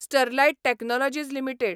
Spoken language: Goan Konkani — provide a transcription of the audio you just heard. Sterlite technologies limited